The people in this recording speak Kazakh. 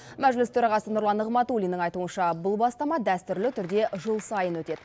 мәжіліс төрағасы нұрлан нығматулиннің айтуынша бұл бастама дәстүрлі түрде жыл сайын өтеді